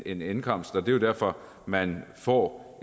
en indkomst og det derfor at man får